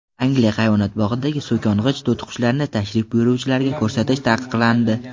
Angliya hayvonot bog‘idagi so‘kong‘ich to‘tiqushlarni tashrif buyuruvchilarga ko‘rsatish taqiqlandi.